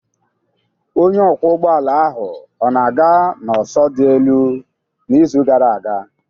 Onye ọkwọ ụgbọala ahụ ọ na-aga n'ọsọ dị elu n'izu gara aga?